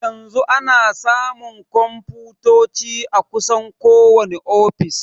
Yanzu ana samun konfutoci a kusan kowani ofis.